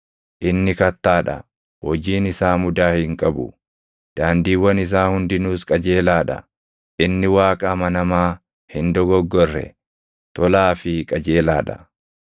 Inni Kattaa dha; hojiin isaa mudaa hin qabu; daandiiwwan isaa hundinuus qajeelaa dha. Inni Waaqa amanamaa hin dogoggorre, tolaa fi qajeelaa dha.